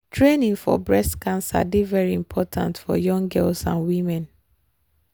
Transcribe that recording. training for breast cancer dey very important for young girls and women.